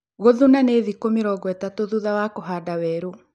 Gũthuna nĩ thĩku mĩrongo ĩtatu thutha wa kũhanda werũ